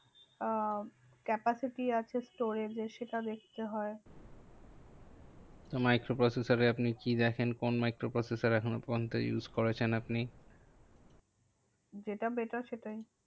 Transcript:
আহ capacity আছে storage এর সেটা দেখতে হয়। তো microprocessor এ আপনি কি দেখেন? কোন microprocessor এখনো পর্যন্ত use করেছেন আপনি? যেটা better সেটাই।